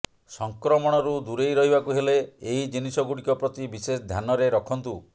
ସଂକ୍ରମଣରୁ ଦୂରେଇ ରହିବାକୁ ହେଲେ ଏହି ଜିନିଷଗୁଡିକ ପ୍ରତି ବିଶେଷ ଧ୍ୟାନରେ ରଖନ୍ତୁ